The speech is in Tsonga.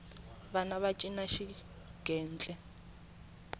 vana va cina xigentle